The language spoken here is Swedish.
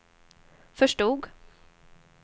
förstod